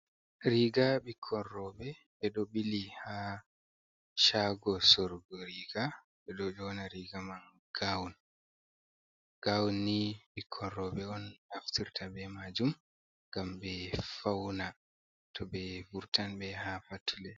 Riga Ɓikkonrobe ɓe ɗo ɓili ha chago sorgo riga, ɓe ɗo ɗona riga man gaun, Gaun ni ɓikkonroɓe on naftirta ɓe majum, gam ɓe fauna to ɓe furtan be ha fattule.